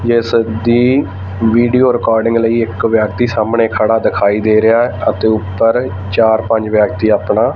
ਇਹ ਸਭ ਦੀ ਵੀਡੀਓ ਰਿਕਾਰਡਿੰਗ ਲਈ ਇੱਕ ਵਿਅਕਤੀ ਸਾਹਮਣੇ ਖੜਾ ਦਿਖਾਈ ਦੇ ਰਿਹਾ ਹੈ ਅਤੇ ਉੱਪਰ ਚਾਰ ਪੰਜ ਵਿਅਕਤੀ ਆਪਣਾ--